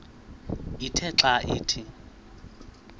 ithe xa ithi